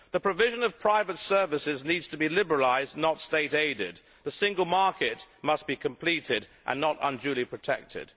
The provision of private services needs to be liberalised not state aided. The single market must be completed and not unduly protected.